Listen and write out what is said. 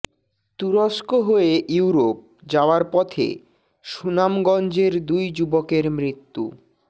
তুরস্ক হয়ে ইউরোপ যাওয়ার পথে সুনামগঞ্জের দুই যুবকের মৃত্যু